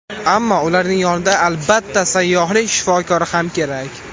Ammo ularning yonida albatta, sayyohlik shifokori ham kerak.